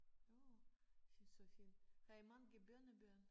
Nåh det så fint har i mange børnebørn?